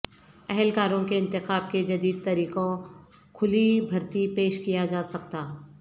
اہلکاروں کے انتخاب کے جدید طریقوں کھلی بھرتی پیش کیا جا سکتا